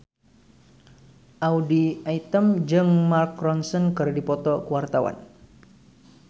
Audy Item jeung Mark Ronson keur dipoto ku wartawan